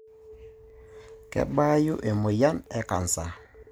Kebaayu emoyian e cancer.